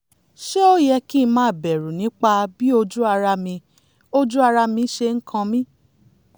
ṣé ó yẹ kí ń máa bẹ̀rù nípa bí ojú ara mi ojú ara mi ṣe ń kan mí?